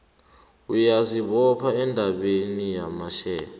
uyazibopha endabeni yamashare